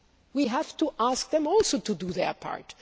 We have to ask them also to do their part.